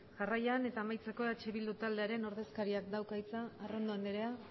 jarraian eta amaitzeko eh bildu taldearen ordezkariak dauka hitza arrondo anderea